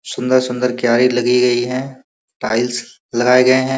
सुंदर-सुंदर क्यारी लगी गई हैं। टाइल्स लगाए गए हैं।